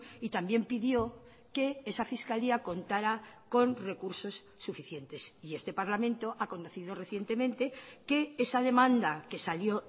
y también pidió que esa fiscalía contara con recursos suficientes y este parlamento ha conocido recientemente que esa demanda que salió